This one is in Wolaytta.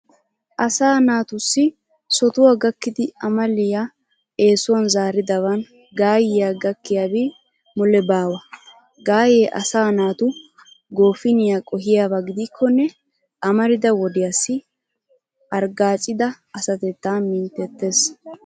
Asaa naatussi sotuwa gakkidi amaliya eesuwan zaaridaban gaayyiya gakkiyabi mule baawa. Gaayyee asaa naatu goofiniya qohiyaba gidikkonne amarida wodiyassi arggaacida asatettaa minttettees.